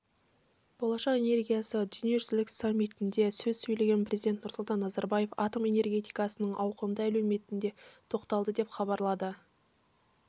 болашақ энергиясы дүниежүзілік саммитінде сөз сөйлеген президент нұрсұлтан назарбаев атом энергетикасының ауқымды әлеуетіне тоқталды деп хабарлады